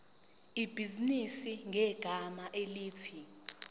ibhizinisi ngegama elithi